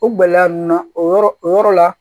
O gɛlɛya ninnu na o yɔrɔ o yɔrɔ la